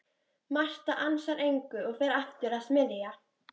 Marta ansar engu og fer aftur að smyrja.